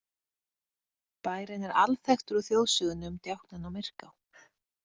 Bærinn er alþekktur úr þjóðsögunni um djáknann á Myrká.